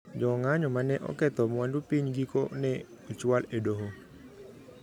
Jo ng` a nyo mane oketho mwandu piny giko ne ochwal e doho